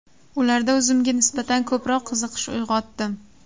Ularda o‘zimga nisbatan ko‘proq qiziqish uyg‘otdim.